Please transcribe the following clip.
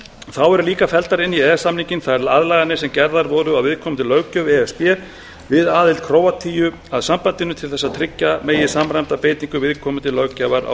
þá eru líka felldar inn í e e s samninginn þær aðlaganir sem gerðar voru á viðkomandi löggjöf e s b við aðild króatíu að sambandinu til þess að tryggja megi samræmda beitingu viðkomandi löggjafar á